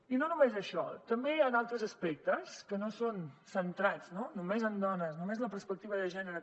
i no només això també hi ha altres aspectes que no són centrats no només en dones només en la perspectiva de gènere